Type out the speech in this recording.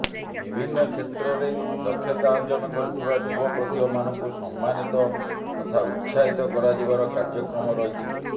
ବିଭିନ୍ନ କ୍ଷେତ୍ରରେ ଦକ୍ଷତା ଅର୍ଜନ କରିଥିବା ଯୁବ ପ୍ରତିଭା ମାନଙ୍କୁ ସମ୍ମାନୀତ ତଥା ଉତ୍ସାହିତ କରାଯିବାର କାର୍ଯ୍ୟକ୍ରମ ରହିଛି